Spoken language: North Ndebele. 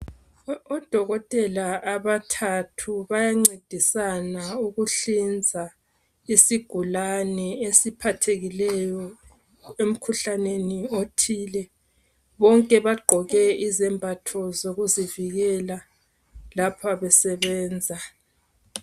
Uudokotela abathathu bayancedisana ukuhlinza, isigulane esiphathekileyo emkhuhlaneni othile, bonke bagqoke izembatho zokuzivikela lapha besebenza.